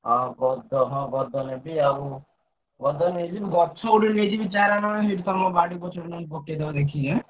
ହଁ ଗଦ ହଁ ଗଦ ନେବି ଆଉ ଗଦ ନେଇଯିବି ଗଛ ଗୋଟେ ନେଇଯିବି ଚାରା ନହେଲେ ସେଠି ତମ ବାଡି ପଛପଟେ ନହେଲେ ପକେଇଦବ କିଛି ଏଁ।